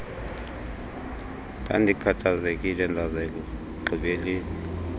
ndandikhathazekile ndaza ekugqibeleni